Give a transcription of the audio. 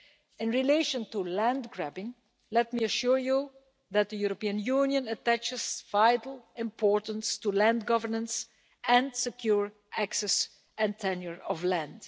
In relation to land grabbing, let me assure you that the European Union attaches vital importance to land governance and secure access to, and tenure of, land.